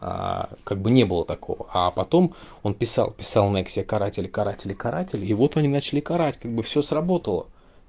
как бы не было такого а потом он писал писал нексия каратель каратель каратель и вот они начали карать как бы всё сработало